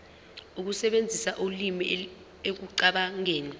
ukusebenzisa ulimi ekucabangeni